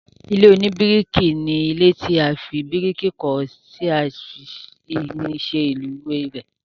ilé oníbíríkì ni ilé tí a fi bíríkì kọ́ tí a sì fi irin ṣe òrùlé rẹ̀